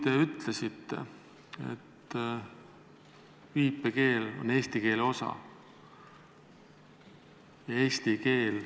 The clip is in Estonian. Te ütlesite, et viipekeel on eesti keele osa ja eesti keel ...